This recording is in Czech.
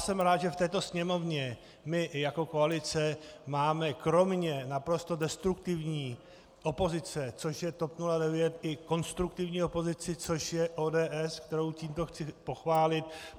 Jsem rád, že v této Sněmovně my jako koalice máme kromě naprosto destruktivní opozice, což je TOP 09, i konstruktivní opozici, což je ODS, kterou tímto chci pochválit.